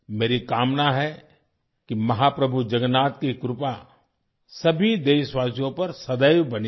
मेरी कामना है कि महाप्रभु जगन्नाथ की कृपा सभी देशवासियों पर सदैव बनी रहे